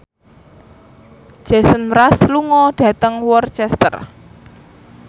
Jason Mraz lunga dhateng Worcester